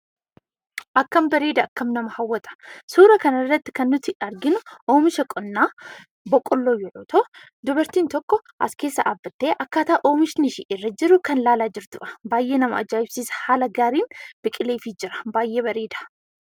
Akkam bareeda! akkam nama hawwata! Suura kanarratti kan nuyi arginu oomisha qonna boqqolloo yoo ta'u, dubartiin tokko as keessa dhaabbattee akkaataa oomishni ishee irra jiru kan ilaalaa jirtudha. Baay'ee nama aja'ibsiisa! Haala gaariin biqilee fi jira. Baay'ee bareeda.